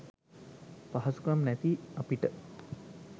පහසුකම් නැති අපිට